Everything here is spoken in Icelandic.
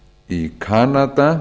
í kanada